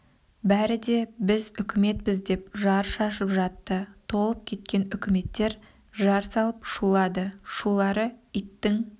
бәрі де біз үкіметпіз деп жар шашып жатты толып кеткен үкіметтер жар салып шулады шулары иттің